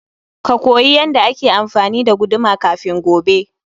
Ka koyi yanda ake amfani da guduma kafin gobe.